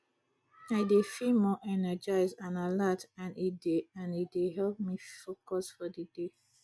i dey feel more energized and alert and e dey and e dey help me focus for di day